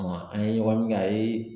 an ye ɲɔgɔn ye min kɛ a ye